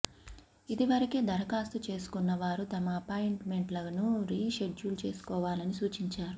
ఇదివరకే దరఖాస్తు చేసుకున్న వారు తమ అపాయింట్మెంట్లను రీ షెడ్యూల్ చేసుకోవాలని సూచించారు